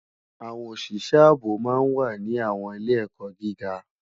Awòn ósisë àbó má n wá ni àwòn ilé èkò gigá